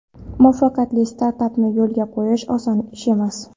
Muvaffaqiyatli startapni yo‘lga qo‘yish oson ish emas.